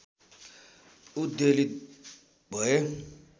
उद्वेलित भएँ